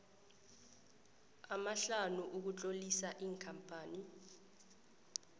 amahlanu ukutlolisa ikampani